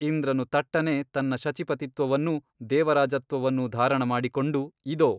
ಇಂದ್ರನು ತಟ್ಟನೆ ತನ್ನ ಶಚಿಪತಿತ್ವವನ್ನೂ ದೇವರಾಜತ್ವವನ್ನು ಧಾರಣ ಮಾಡಿಕೊಂಡು ಇದೊ !